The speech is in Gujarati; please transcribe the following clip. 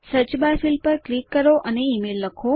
સર્ચ બાર પર ક્લિક કરો અને ઇમેઇલ લખો